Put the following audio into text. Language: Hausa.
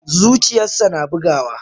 Zuciyarsa na bugawa.